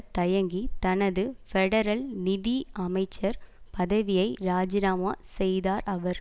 தயங்கி தனது பெடரல் நிதி அமைச்சர் பதவியை இராஜினாமா செய்தார் அவர்